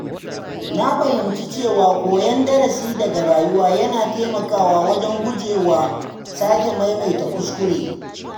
Na fahimci cewa koyan darasi daga rayuwa yana taimakawa wajen gujewa sake maimaita kuskure.